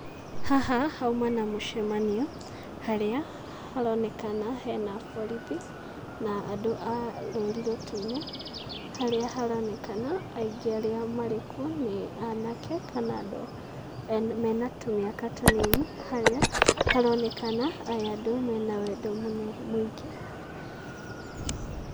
Haha hauma na mũcemanio, harĩa haronekana hena borithi na andũ a rũri rũtune, harĩa haronekana aingĩ arĩa marĩkuo nĩ anake, kana andũ me na tũmĩaka tũnini, harĩa haronekana aya andũ mena wendo mũingĩ.